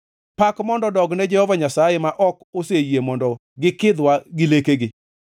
Pak mondo odogne Jehova Nyasaye, ma ok oseyie mondo gikidhwa gi lekegi.